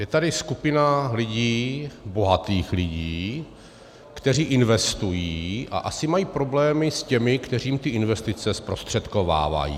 Je tady skupina lidí, bohatých lidí, kteří investují a asi mají problémy s těmi, kteří jim ty investice zprostředkovávají.